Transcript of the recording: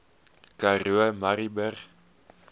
karoo murrayburg